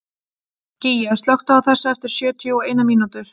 Gígja, slökktu á þessu eftir sjötíu og eina mínútur.